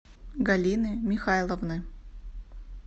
галины михайловны